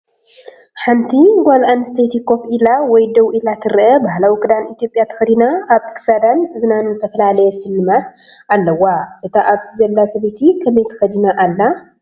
ሓንቲ ጓል ኣንስተይቲ ኮፍ ኢላ ወይ ደው ኢላ ትርአ። ባህላዊ ክዳን ኢትዮጵያ ተኸዲና ኣብ ክሳዳን እዝናን ዝተፈላለየ ስልማት ኣለዋ። እታ ኣብዚ ዘላ ሰበይቲ ከመይ ተኸዲና ኣላ?